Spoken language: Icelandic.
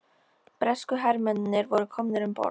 Bresku hermennirnir voru komnir um borð.